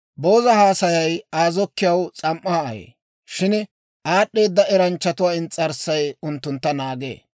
Booza haasayay Aa zokkiyaw S'am"aa ayee; shin aad'd'eeda eranchchatuwaa ins's'arssay unttuntta naagee.